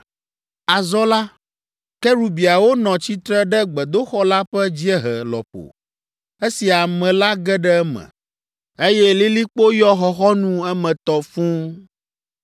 Azɔ la, kerubiawo nɔ tsitre ɖe gbedoxɔ la ƒe dziehe lɔƒo esi ame la ge ɖe eme, eye lilikpo yɔ xɔxɔnu emetɔ fũu.